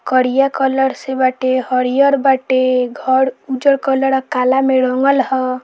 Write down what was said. करिया कलर से बाटे हरियर बाटे घर उजर कलर आ कला में रंगल ह।